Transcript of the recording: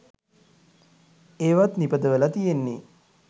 ඒවත් නිපදවලා තියෙන්නෙ